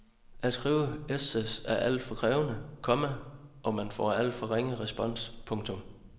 At skrive essays er alt for krævende, komma og man får alt for ringe respons. punktum